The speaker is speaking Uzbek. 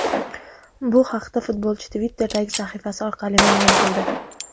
Bu haqda futbolchi Twitter’dagi sahifasi orqali ma’lum qildi .